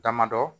Damadɔ